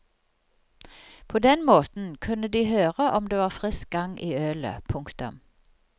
På den måten kunne de høre om det var frisk gang i ølet. punktum